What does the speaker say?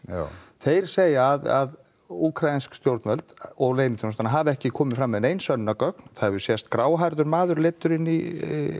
þeir segja að úkraínsk stjórnvöld og leyniþjónustan hafi ekki komið fram með nein sönnunargögn það hefur sést gráhærður maður leiddur inn í